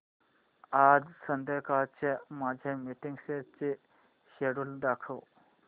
आज संध्याकाळच्या माझ्या मीटिंग्सचे शेड्यूल दाखव